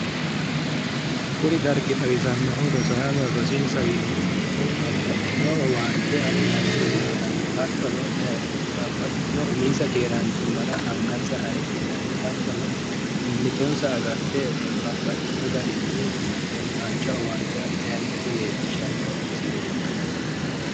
Kuni dargi xawisannohu rosaanno rosiinsa darginni fulte babbaxxitino owaante afidhanno gede leellishanoo misileeti